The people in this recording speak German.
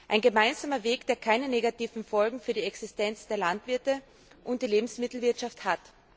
Einen gemeinsamen Weg, der keine negativen Folgen für die Existenz der Landwirte und die Lebensmittelwirtschaft hat.